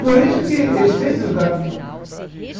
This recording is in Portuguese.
Por isso que eles sempre usaram droga.